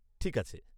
ঠিক আছে।